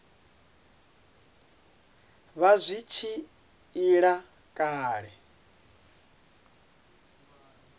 vha zwi tshi ila kale